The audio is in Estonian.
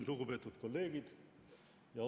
Lugupeetud kolleegid!